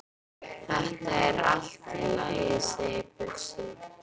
Þetta er allt í lagi segir Bjössi.